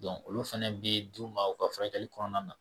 olu fana bɛ d'u ma u ka furakɛli kɔnɔna na